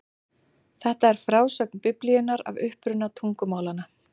Þetta er frásögn Biblíunnar af uppruna tungumálanna.